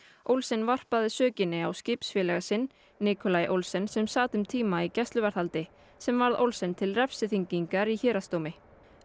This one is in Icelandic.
Olsen varpaði sökinni á skipsfélaga sinn Olsen sem sat um tíma í gæsluvarðhaldi sem varð Olsen til refsiþyngingar í héraðsdómi